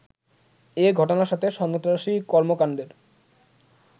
এ ঘটনার সাথে সন্ত্রাসী কর্মকাণ্ডের